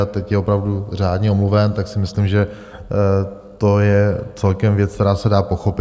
A teď je opravdu řádně omluven, tak si myslím, že to je celkem věc, která se dá pochopit.